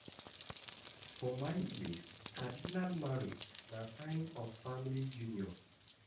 For my place, traditional marriage na sign of family union.